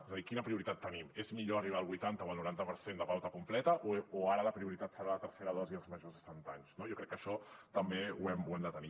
és a dir quina prioritat tenim és millor arribar al vuitanta o el noranta per cent de pauta completa o ara la prioritat serà la tercera dosi als majors de setanta anys no jo crec que això també ho hem de tenir